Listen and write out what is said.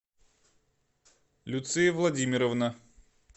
люция владимировна